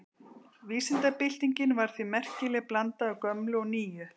Vísindabyltingin var því merkileg blanda af gömlu og nýju.